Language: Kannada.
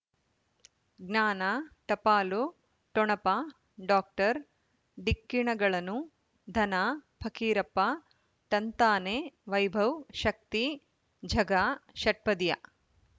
ಜ್ಞಾನ ಟಪಾಲು ಠೊಣಪ ಡಾಕ್ಟರ್ ಢಿಕ್ಕಿ ಣಗಳನು ಧನ ಫಕೀರಪ್ಪ ಳಂತಾನೆ ವೈಭವ್ ಶಕ್ತಿ ಝಗಾ ಷಟ್ಪದಿಯ